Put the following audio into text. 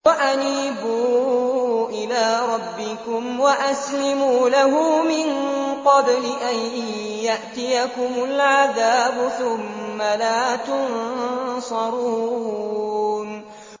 وَأَنِيبُوا إِلَىٰ رَبِّكُمْ وَأَسْلِمُوا لَهُ مِن قَبْلِ أَن يَأْتِيَكُمُ الْعَذَابُ ثُمَّ لَا تُنصَرُونَ